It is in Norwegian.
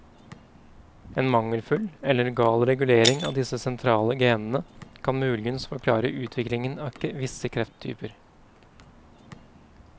En mangelfull eller gal regulering av disse sentrale genene kan mulig forklare utviklingen av visse krefttyper.